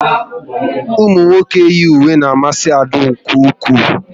Ụmụnwoke yi uwe n'amasi Ada nke ụkwụ